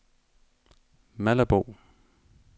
Malabo